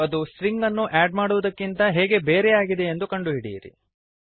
ಮತ್ತು ಅದು ಸ್ಟ್ರಿಂಗನ್ನು ಆಡ್ ಮಾಡುವುದಕ್ಕಿಂತ ಹೇಗೆ ಬೇರೆಯಾಗಿದೆಯೆಂದು ಕಂಡು ಹಿಡಿಯಿರಿ